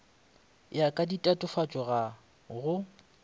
ya ka ditatofatšo ga go